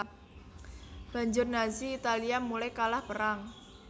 Banjur Nazi Italia mulai kalah perang